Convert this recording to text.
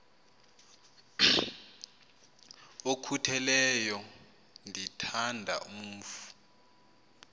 okhutheleyo ndithanda umf